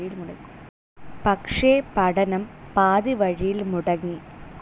പക്ഷേ, പഠനം പാതിവഴിയിൽ മുടങ്ങി.